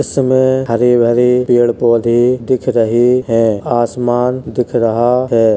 इसमे हरे भरे पेड़ पौधे दिख रहे हैं। आसमान दिख रहा है।